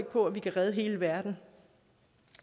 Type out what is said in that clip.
på at vi kan redde hele verden